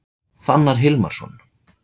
Fannar Hilmarsson